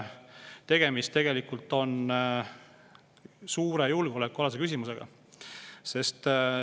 Tegemist on suure julgeolekualase küsimusega.